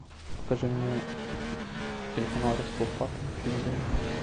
покажи мне телеканал ростов папа на телевизоре